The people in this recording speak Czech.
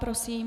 Prosím.